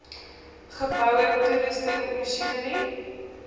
geboue toerusting masjinerie